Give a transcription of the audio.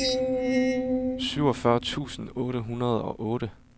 syvogfyrre tusind otte hundrede og otte